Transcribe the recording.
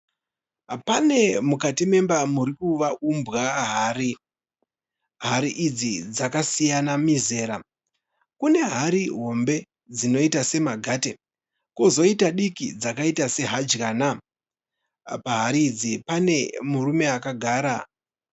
Pane mukati memba murikuumbwa hari. Hari idzi dzakasiyana mizera. Kune hari hombe dzinoita semagate kozoita diki dzakaita sehadyana. Pahari idzi pane murume akagara.